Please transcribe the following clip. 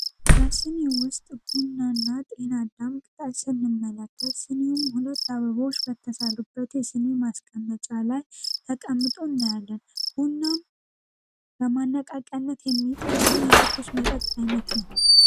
በስኒ ውስጥ ቡናና ጤንአዳም ቅጣት ስንመላከ ስኒውም ሁነት አበበዎች በተሳርበት የስኒ አስቀመጫ ላይ ተቀምጡ እናያለን። ቡናም በማነቃቀነት የሚጠቅም የትኮስ መጠጥ ዓይነት ነው።